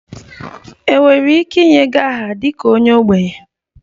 Enwere ike inye gị aha dị ka onye ogbenye?